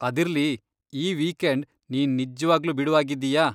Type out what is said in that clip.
ಅದಿರ್ಲಿ, ಈ ವೀಕೆಂಡ್ ನೀನ್ ನಿಜ್ವಾಗ್ಲೂ ಬಿಡುವಾಗಿದ್ದೀಯಾ?